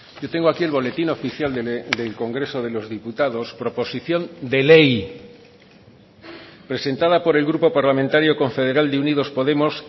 yo tengo aquí el boletín oficial del congreso de los diputados proposición de ley presentada por el grupo parlamentario confederal de unidos podemos